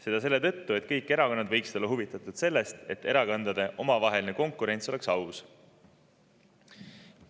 Seda selle tõttu, et kõik erakonnad võiksid olla huvitatud sellest, et erakondade omavaheline konkurents oleks aus.